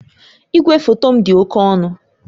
Igwefoto m dị oke ọnụ